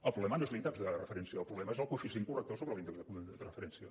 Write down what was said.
el problema no és l’índex de referència el problema és el coeficient corrector sobre l’índex de referència